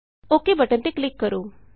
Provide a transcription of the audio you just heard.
okay ok button ਤੇ click ਕਰੋ